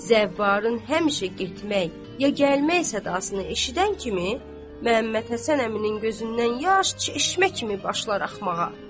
Zəvvarın həmişə getmək, ya gəlmək sadasını eşidən kimi Məhəmməd Həsən əminin gözündən yaş çeşmə kimi başlar axmağa.